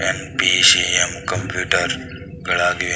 NPCM computer ಗಳಾಗಿವೆ .